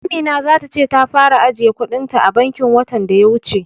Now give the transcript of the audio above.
Amina za ta ce ta fara ajiye kuɗin ta a bankin watan daya wuce.